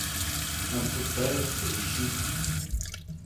отпускаю поищи